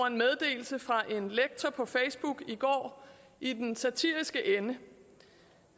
en meddelelse fra en lektor på facebook i går i den satiriske ende